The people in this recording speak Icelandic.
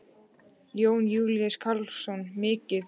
Jón Júlíus Karlsson: Mikið?